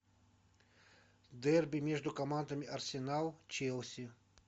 дерби между командами арсенал челси